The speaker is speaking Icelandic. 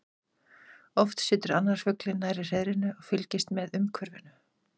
Oft situr annar fuglinn nærri hreiðrinu og fylgist með umhverfinu.